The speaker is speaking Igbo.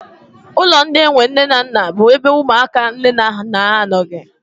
Ụlọ ndị enwe nne na nna bụ ebe ụmụaka nne na nna ha anọghị.